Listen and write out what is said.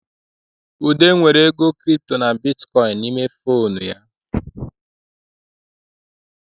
Ude nwere ego Kịrịpụtọ na bịtịkọyịnị n'ime fonu ya